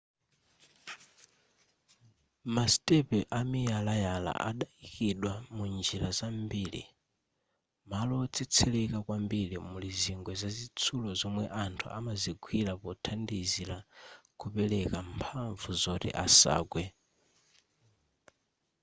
masitepe amiyalaya adaikidwa munjira zambiri malo wotsetsereka kwambiri muli zingwe zazitsulo zomwe anthu amazigwira pothandizira kupereka mphamvu zoti asagwe